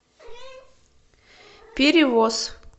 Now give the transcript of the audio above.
перевоз